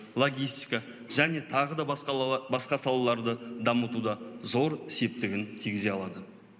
логистика және тағы да басқа салаларды дамытуда зор септігін тигізе алады